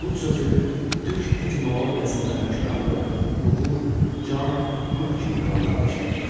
Qut sözü türk etimologiyasında hökmranlıq, uğur, can, ruh kimi mənalarda işlədilir.